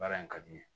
Baara in ka di n ye